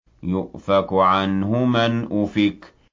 يُؤْفَكُ عَنْهُ مَنْ أُفِكَ